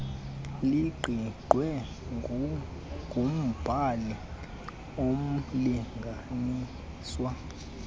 liqingqwe ngumbhali umlinganiswa